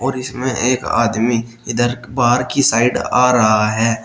इसमें एक आदमी इधर बाहर की साइड आ रहा है।